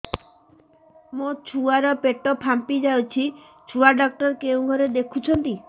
ମୋ ଛୁଆ ର ପେଟ ଫାମ୍ପି ଯାଉଛି ଛୁଆ ଡକ୍ଟର କେଉଁ ଘରେ ଦେଖୁ ଛନ୍ତି